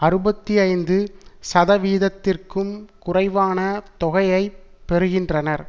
அறுபத்தி ஐந்து சதவீதத்திற்கும் குறைவான தொகையைப் பெறுகின்றனர்